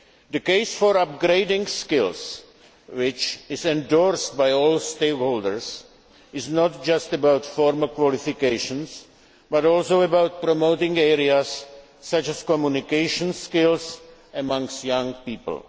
The case for upgrading skills, which is endorsed by all stakeholders, is not just about formal qualifications, but also about promoting areas such as communication skills amongst young people.